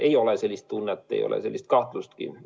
Ei ole sellist tunnet, ei ole sellist kahtlustki.